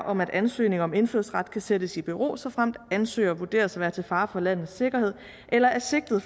om at en ansøgning om indfødsret kan sættes i bero såfremt ansøgeren vurderes at være til fare for landets sikkerhed eller er sigtet